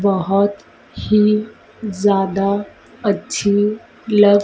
बहोत ही ज़्यादा अच्छी लग--